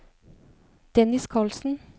Dennis Karlsen